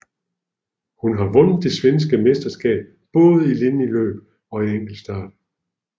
Hun har vundet det svenske mesterskab både i linjeløb og enkeltstart